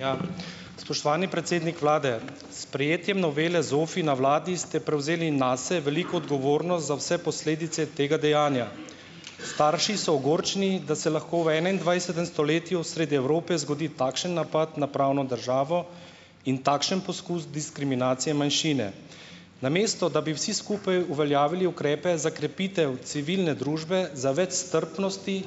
Ja, spoštovani predsednik vlade, s sprejetjem novele ZOFVI na vladi ste prevzeli nase veliko za vse posledice tega dejanja. Starši so ogorčeni, da se lahko v enaindvajsetem stoletju sredi Evrope zgodi takšen napad na pravno državo in takšen poskus diskriminacije manjšine. Namesto da bi vsi skupaj uveljavili ukrepe za krepitev civilne družbe za več strpnosti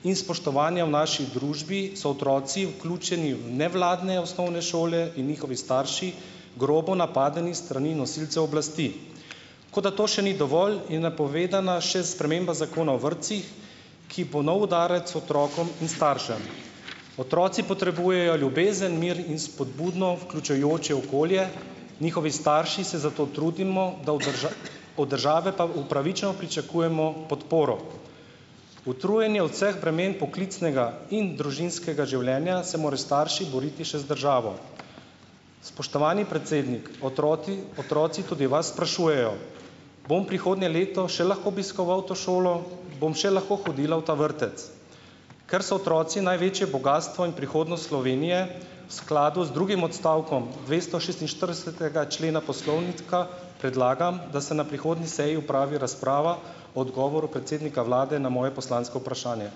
in spoštovanja v naši družbi so otroci vključeni v nevladne osnovne šole in njihovi starši grobo napadeni s strani nosilcev oblasti, kot da to še ni dovolj, je napovedana še sprememba Zakona o vrtcih, ki bo nov udarec otrokom in staršem. Otroci potrebujejo ljubezen, mir in spodbudno vključujoče okolje. Njihovi starši se zato trudimo, da od od države pa upravičeno pričakujemo podporo. Utrujeni od vseh bremen poklicnega in družinskega življenja se morajo starši boriti še z državo. Spoštovani predsednik, otroci otroci tudi vas sprašujejo: "Bom prihodnje leto še lahko obiskoval to šolo, bom še lahko hodila v ta vrtec?" Ker so otroci največje bogastvo in prihodnost Slovenije v skladu z drugim odstavkom dvestošestinštiridesetega člena poslovnika predlagam, da se na prihodni seji opravi razprava o odgovoru predsednika vlade na moje poslansko vprašanje.